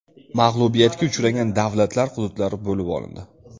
Mag‘lubiyatga uchragan davlatlar hududlari bo‘lib olindi.